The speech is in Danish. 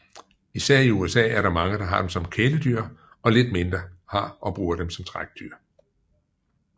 Især i USA er der mange der har dem som kæledyr og lidt mindre har og bruger dem som trækdyr